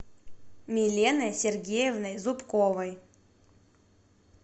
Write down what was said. миленой сергеевной зубковой